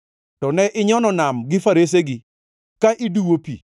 To ne inyono nam gi faresegi, ka iduwo pi.